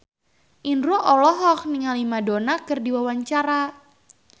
Indro olohok ningali Madonna keur diwawancara